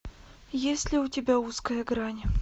есть ли у тебя узкая грань